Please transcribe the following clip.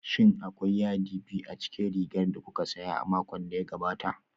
Shin akwai yadi biyu a cikin rigar da kuka saya a makon da ya gabata?